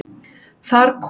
Þar kom